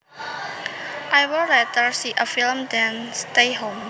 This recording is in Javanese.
I would rather see a film than stay home